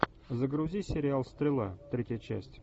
загрузи сериал стрела третья часть